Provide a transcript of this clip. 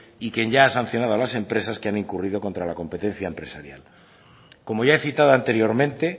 y quien ya ha sancionado a las empresas que han incurrido contra la competencia empresarial como ya he citado anteriormente